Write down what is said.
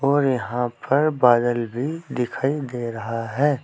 और यहां पर बादल भी दिखाई दे रहा है।